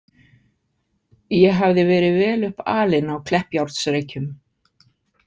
Ég hafði verið vel upp alinn á Kleppjárnsreykjum.